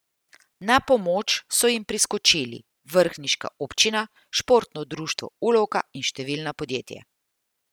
Na pomoč so jim priskočili vrhniška občina, športno društvo Ulovka in številna podjetja.